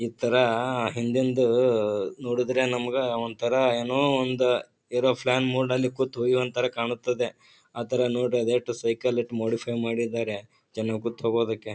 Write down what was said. ಇತರಾಆ ಹಿಂದೆಂದೂಊ ನೋಡುದ್ರೆ ನಮಗ ಒಂತರ ಏನೋ ಒಂದ ಏರೋಫ್ಲಾನ್ ಮೂಡ್ನಲ್ಲಿ ಕೂತು ಒಯ್ಯೊಂಥರ ಕಾಣುತ್ತದೆ ಆತರ ನೋಡ್ರಿ ಎಟ್ಟು ಸೈಕಲ್ ಏಟ್ ಮಾಡಿಫೈಯ್ ಮಾಡಿದ್ದಾರೆ ಜನ ಕುತ್ತೊಗೊದಕ್ಕೆ.